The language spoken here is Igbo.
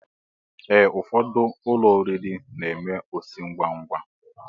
Ee, ụfọdụ ụlọ oriri n'eme osi ngwa ngwa